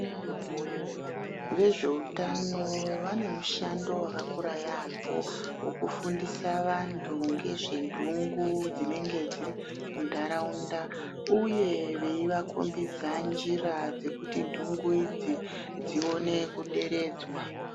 Ve zveutano vane mushando waka kura yambo weku fundisa vantu ngezve ndungu dzinenge dziri mu ndaraunda uye veyi vako mbidza njira dzekuti dzungu idzi dzione ku deredzwa.